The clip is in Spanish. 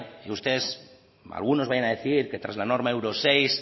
que ustedes algunos vayan a decir que tras la norma euro seis